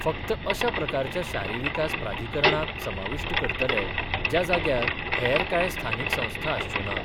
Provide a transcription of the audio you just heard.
फक्त अशा प्रकारच्या शारी विकास प्राधिकरणाक समाविष्ट करतले ज्या जाग्यार हेर काय स्थानिक संस्था आसच्यो ना.